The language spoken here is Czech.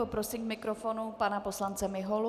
Poprosím k mikrofonu pana poslance Miholu.